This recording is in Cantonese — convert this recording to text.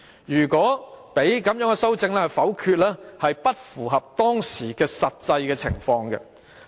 如果讓修正案遭否決，有違當時的實際情況。